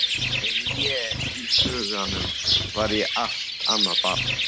En í huganum var ég allt annað barn.